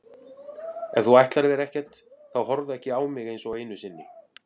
Ef þú ætlar þér ekkert þá horfðu ekki á mig einsog einu sinni.